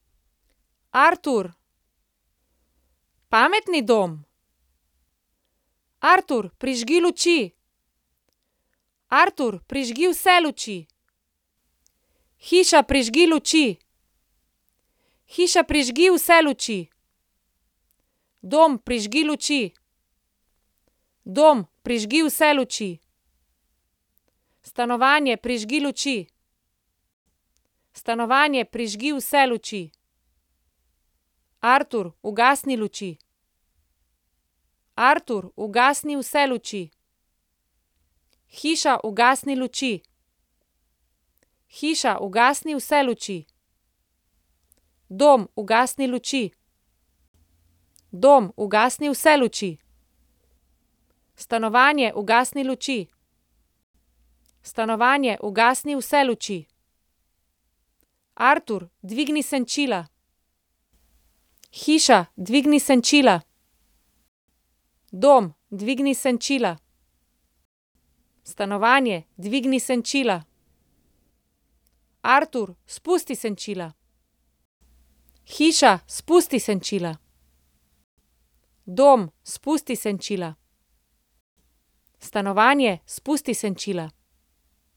Artur. Pametni dom. Artur, prižgi luči. Artur, prižgi vse luči. Hiša, prižgi luči. Hiša, prižgi vse luči. Dom, prižgi luči. Dom, prižgi vse luči. Stanovanje, prižgi luči. Stanovanje, prižgi vse luči. Artur, ugasni luči. Artur, ugasni vse luči. Hiša, ugasni luči. Hiša, ugasni vse luči. Dom, ugasni luči. Dom, ugasni vse luči. Stanovanje, ugasni luči. Stanovanje, ugasni vse luči. Artur, dvigni senčila. Hiša, dvigni senčila. Dom, dvigni senčila. Stanovanje, dvigni senčila. Artur, spusti senčila. Hiša, spusti senčila. Dom, spusti senčila. Stanovanje, spusti senčila.